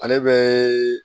Ale bɛ